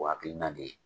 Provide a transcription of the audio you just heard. O hakilina de ye